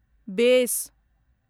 बेस